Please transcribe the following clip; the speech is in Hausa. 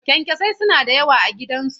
Kyankyasai suna da yawa a gidansu.